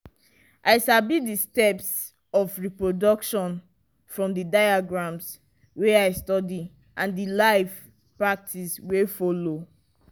i sabi the steps of reproduction from the diagrams wey i study and the live practice wey follow.